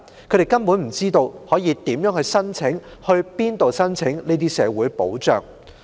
他們根本不知道如何申請、到哪裏申請這些社會保障。